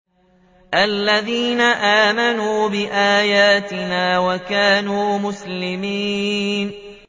الَّذِينَ آمَنُوا بِآيَاتِنَا وَكَانُوا مُسْلِمِينَ